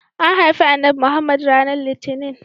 An haifi Annabi Muhammad ranar litinin.